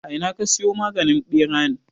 A ina ka siyo maganin ɓeran?